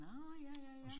Nårh ja ja ja